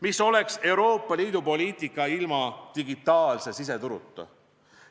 Mis oleks Euroopa Liidu poliitika ilma digitaalse siseturuta?